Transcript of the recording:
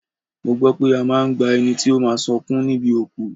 Mo gbọ́ pé a máa ń gba ẹni tí ó máa sọkún níbi òkú